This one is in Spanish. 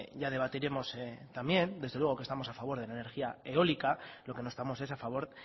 ya debatiremos también desde luego que estamos a favor de la energía eólica lo que no estamos es a favor